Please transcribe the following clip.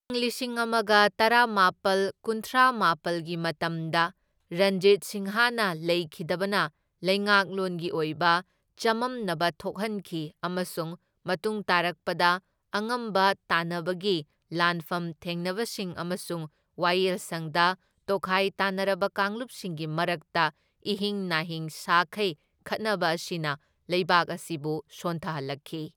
ꯢꯪ ꯂꯤꯁꯤꯡ ꯑꯃꯒ ꯇꯔꯥꯅꯤꯄꯥꯜ ꯀꯨꯟꯊ꯭ꯔꯥꯃꯥꯄꯜꯒꯤ ꯃꯇꯝꯗ ꯔꯟꯖꯤꯠ ꯁꯤꯡꯍꯅ ꯂꯩꯈꯤꯗꯕꯅ ꯂꯩꯉꯥꯛꯂꯣꯟꯒꯤ ꯑꯣꯏꯕ ꯆꯃꯝꯅꯕ ꯊꯣꯛꯍꯟꯈꯤ ꯑꯃꯁꯨꯡ ꯃꯇꯨꯡ ꯇꯥꯔꯛꯄꯗ ꯑꯉꯝꯕ ꯇꯥꯟꯅꯕꯒꯤ ꯂꯥꯟꯐꯝ ꯊꯦꯡꯅꯕꯁꯤꯡ ꯑꯃꯁꯨꯡ ꯋꯥꯌꯦꯜꯁꯪꯗ ꯇꯣꯈꯥꯏ ꯇꯥꯅꯔꯕ ꯀꯥꯡꯂꯨꯞꯁꯤꯡꯒꯤ ꯃꯔꯛꯇ ꯏꯍꯤꯡ ꯅꯥꯍꯤꯡ ꯁꯥꯈꯩ ꯈꯠꯅꯕ ꯑꯁꯤꯅ ꯂꯩꯕꯥꯛ ꯑꯁꯤꯕꯨ ꯁꯣꯟꯊꯍꯜꯂꯛꯈꯤ꯫